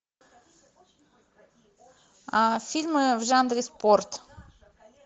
фильмы в жанре спорт